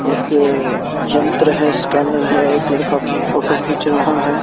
एक अ यंत्र है स्कैनर है एक लड़का अपनी फोटो खींच रहा है।